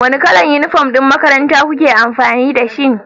Wane kalar uniform ɗin makarantar ku ke amfani da shi?